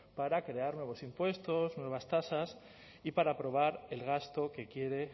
para crear nuevos impuestos nuevas tasas y para aprobar el gasto que quiere